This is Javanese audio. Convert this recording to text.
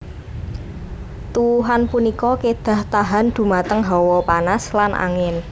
Tuwuhan punika kedah tahan dhumateng hawa panas lan angin